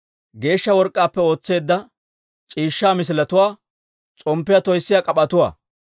geeshsha work'k'aappe ootseedda c'iishshaa misiletuwaa, s'omppiyaa toyssiyaa k'ap'etuwaa.